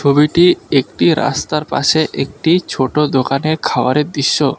ছবিটি একটি রাস্তার পাশে একটি ছোটো দোকানে খাওয়ারের দৃশ্য।